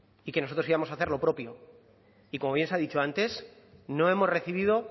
y que nosotros íbamos a hacer lo propio y como bien se ha dicho antes no hemos recibido